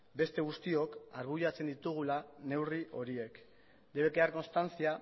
beste guztiok arbuiatzen ditugula neurri horiek debe quedar constancia